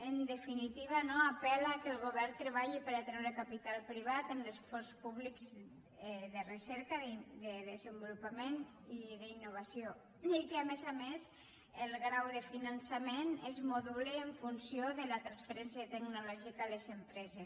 en definitiva no apel·la que el govern treballi per atreure capital privat en l’esforç públic de recerca de desenvolupament i d’in·novació i que a més a més el grau de finançament es moduli en funció de la transferència tecnològica a les empreses